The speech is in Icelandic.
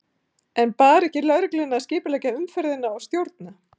En bar ekki lögreglunni að skipuleggja umferðina og stjórna?